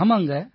ஆமாங்க